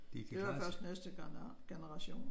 Det var først næste generation